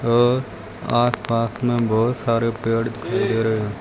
अ आसपास में बहोत सारे पेड़ दिखाई दे रहे है।